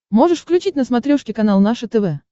можешь включить на смотрешке канал наше тв